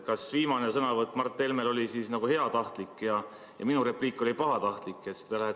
Kas siis Mart Helme viimane sõnavõtt oli heatahtlik ja minu repliik oli pahatahtlik?